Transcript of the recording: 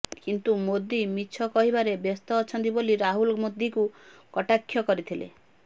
କିନ୍ତୁ ମୋଦି ମିଛ କହିବାରେ ବ୍ୟସ୍ତ ଅଛନ୍ତି ବୋଲି ରାହୁଲ ମୋଦିଙ୍କୁ କଟାକ୍ଷ କରିଥିଲେ